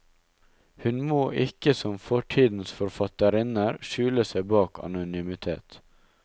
Hun må ikke som fortidens forfatterinner skjule seg bak anonymitet.